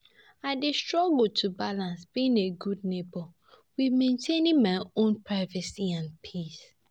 I dey struggle to balance being a good neighbour, with mentaining my own privacy and peace.